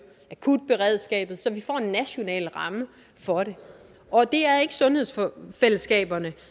akutberedskabet så vi får en national ramme for det og det er ikke sundhedsfællesskaberne